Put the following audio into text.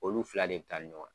Olu fila de bɛ taa ni ɲɔgɔn ye.